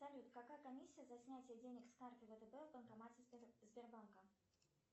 салют какая комиссия за снятие денег с карты втб в банкомате сбербанка